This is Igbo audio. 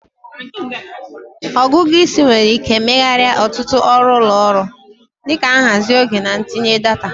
Ọgụgụ isi nwere ike megharịa ọtụtụ ọrụ ụlọ ọrụ, dị ka nhazi oge na ntinye data.